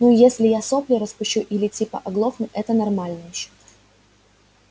ну если я сопли распущу или типа оглохну это нормально ещё